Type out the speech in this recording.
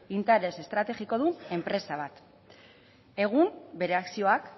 interes estrategikodun enpresa bat egun bere akzioak